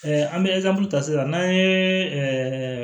an bɛ ta sisan n'an ye